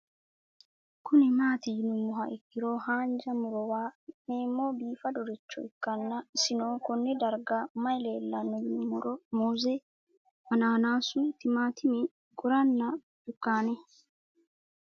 Kuni mati yinumoha ikiro hanja murowa afine'mona bifadoricho ikana isino Kone darga mayi leelanno yinumaro muuze hanannisu timantime gooranna buurtukaane